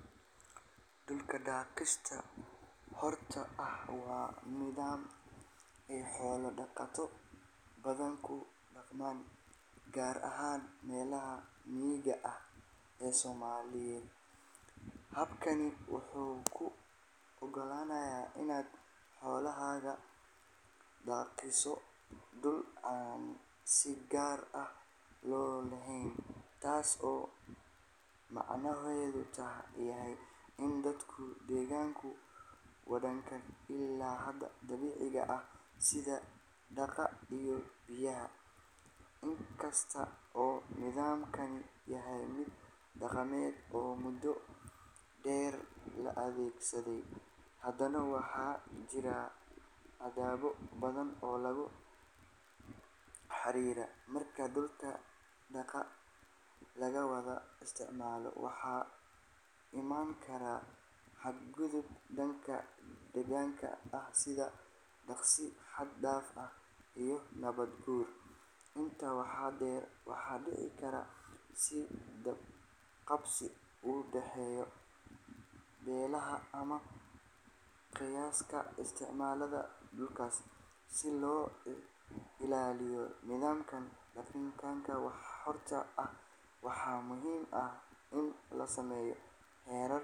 Dhulka daaqsinka xorta ah waa nidaam ay xoolo dhaqato badan ku dhaqmaan, gaar ahaan meelaha miyiga ah ee Soomaaliya. Habkani wuxuu kuu oggolaanayaa inaad xoolahaaga daaqsiiso dhul aan si gaar ah loo lahayn, taas oo macnaheedu yahay in dadka deegaanka wadaagaan ilaha dabiiciga ah sida daaqa iyo biyaha. Inkasta oo nidaamkani yahay mid dhaqameed oo muddo dheer la adeegsaday, haddana waxa jira caqabado badan oo la xiriira. Marka dhulka daaqa la wada isticmaalo, waxaa iman kara xadgudub dhanka deegaanka ah sida daaqsi xad dhaaf ah iyo nabaad guur. Intaa waxaa dheer, waxaa dhici karta is qabqabsi u dhexeeya beelaha ama qoysaska isticmaala dhulkaas. Si loo ilaaliyo nidaamka daaqsinka xorta ah, waxaa muhiim ah in la sameeyo xeerar.